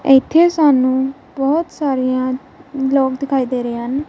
ਇਥੇ ਸਾਨੂੰ ਬਹੁਤ ਸਾਰੀਆਂ ਵਲੋਗ ਦਿਖਾਈ ਦੇ ਰਹੇ ਹਨ।